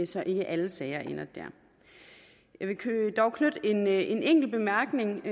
så ikke alle sager ender der jeg vil dog knytte en enkelt bemærkning